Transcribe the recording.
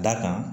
D'a kan